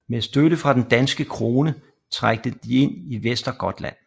Med støtte fra den danske krone trængte de ind i Västergötland